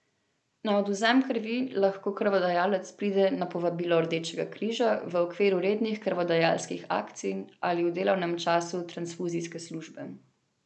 Na odvzem krvi lahko krvodajalec pride na povabilo Rdečega križa v okviru rednih krvodajalskih akcij ali v delovnem času transfuzijske službe.